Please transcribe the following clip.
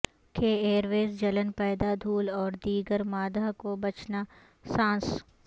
کہ airways جلن پیدا دھول اور دیگر مادہ کا بچنا سانس